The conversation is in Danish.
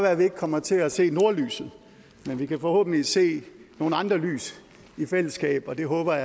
at vi ikke kommer til at se nordlyset men vi kan forhåbentlig se nogle andre lys i fællesskab og det håber